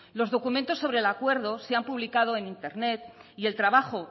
los documentos sobre el acuerdo se han publicado en internet y el trabajo